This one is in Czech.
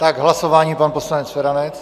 K hlasování pan poslanec Feranec.